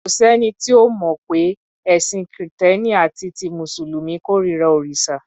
Kò sẹ́ni tí ò mọ̀ pé ẹ̀sìn Kìtẹ́ẹ́nì àti ti Mùsùlùmí kórira òrìṣà.